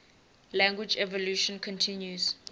language evolution continues